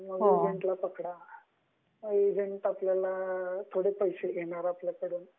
Form भरायचं म्हंटल की एजेंट थोड़े पैसे घेणार आपल्याकडून मग.